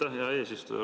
Aitäh, hea eesistuja!